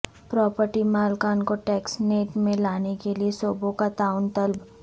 property مالکان کو tax net میں لانے کیلیے صوبوں کا تعاون طلب